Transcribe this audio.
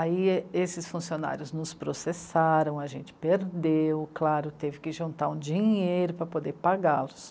Aí e... esses funcionários nos processaram, a gente perdeu, claro, teve que juntar um dinheiro para poder pagá-los.